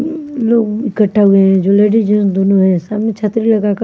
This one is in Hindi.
लोग इकट्ठा हुए हैं जो लेडीज दोनों है सामने छतरी लगा के--